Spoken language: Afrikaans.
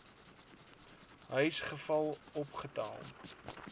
huis geval opgetel